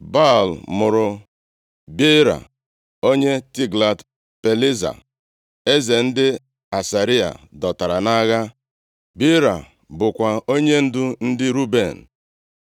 Baal mụrụ Beera, onye Tiglat-Pilesa eze ndị Asịrịa dọtara nʼagha. Beera bụkwa onyendu ndị Ruben.